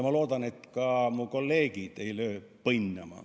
Ma loodan, et ka minu kolleegid ei löö põnnama.